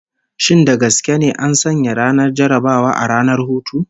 Shin da gaske ne an sanya ranar jarrabawa a ranar hutu?